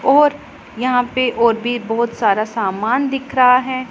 और यहां पे और भी बहोत सारा सामान दिख रहा हैं।